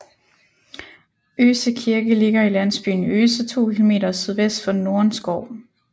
Øse Kirke ligger i landsbyen Øse 2 km sydvest for Nordenskov